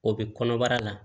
O bɛ kɔnɔbara la